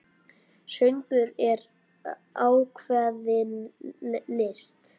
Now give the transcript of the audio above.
Söngur er ákveðin list.